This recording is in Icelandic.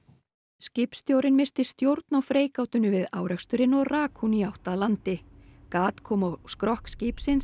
skipstjórinn missti stjórn á freigátunni við áreksturinn og rak hún í átt að landi gat kom á skrokk skipsins